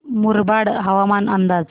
मुरबाड हवामान अंदाज